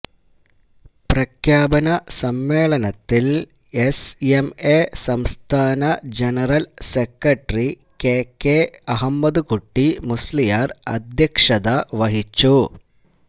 പ്രഖ്യാപന സമ്മേളനത്തില് S M A സംസ്ഥാന general secretary K K Ahmedkutty Musliyar അധ്യക്ഷതവഹിച്ചു